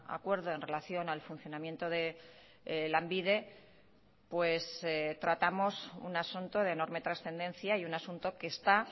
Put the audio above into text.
acuerdo en relación al funcionamiento de lanbide pues tratamos un asunto de enorme trascendencia y un asunto que está